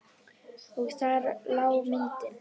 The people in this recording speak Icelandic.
Og þar lá myndin.